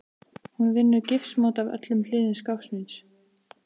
Hún vinnur gifsmót af öllum hliðum skápsins.